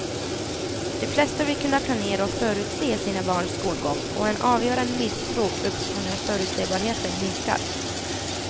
De flesta vill kunna planera och förutse sina barns skolgång och en avgörande misstro uppstår när förutsebarheten minskar.